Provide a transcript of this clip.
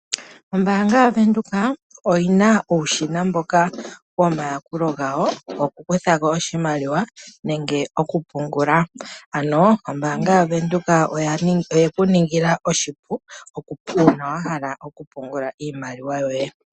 Ombaang yo Bank Windhoek oyina uushina mboka womayakulo gawo goku kuthako oshimaliawa nenge oku pungula. Ombaanga yo Bank Windhoek oye ku ningila oshipu uuna wa hala oku pungula iimaliwa yoye.